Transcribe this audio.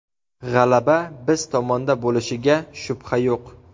G‘alaba biz tomonda bo‘lishiga shubha yo‘q.